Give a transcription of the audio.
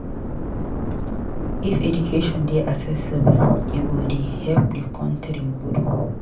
If education dey accessible e go dey help di country grow.